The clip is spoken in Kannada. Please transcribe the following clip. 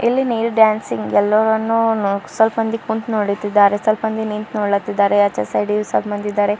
ಇಲ್ಲಿ ನೀರ್ ಡ್ಯಾನ್ಸಿಂಗ್ ಎಲ್ಲವನ್ನು ಸ್ವಲ್ಪ್ ಮಂದಿ ಕುಂತು ನೋಡುತ್ತಿದ್ದಾರೆ ಸ್ವಲ್ಪ ಮಂದಿ ನಿಂತು ನೋಡ್ಲತಿದ್ದಾರೆ ಆಚೆ ಸೈಡ್ ಇಗೆ ಸ್ವಲ್ಪ ಮಂದಿ ಇದ್ದಾರೆ.